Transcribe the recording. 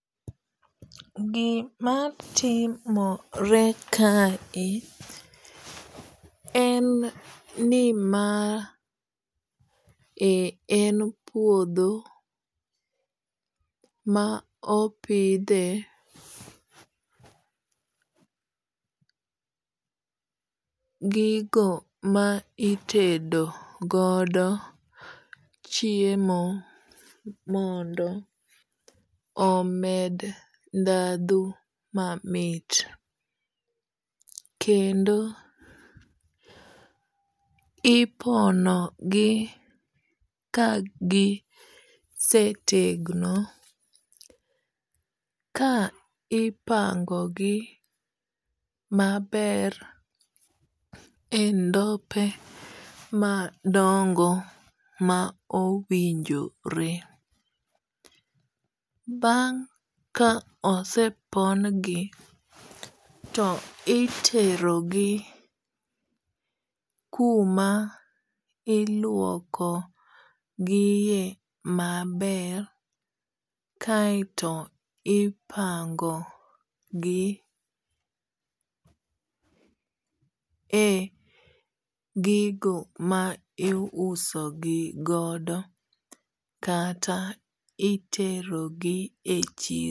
Gima timore kae en ni ma e en puodho ma opidhe gigo ma itedo godo chiemo mondo omed dhadho mamit. Kendo ipono gi gisetegno ka ipango gi maber e ndope madongo ma owinjore. Bang' ka osepon gi to itero gi kuma iluoko gi e maber kaeto ipango gi e gigo ma i uso gi godo kata itero gi e chiro.